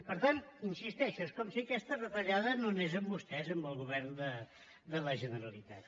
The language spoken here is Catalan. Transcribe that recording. per tant hi insisteixo és com si aquesta retallada no anés amb vostès amb el govern de la generalitat